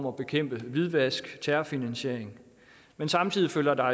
at bekæmpe hvidvask terrorfinansiering men samtidig følger der